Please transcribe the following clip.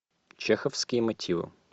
чеховские мотивы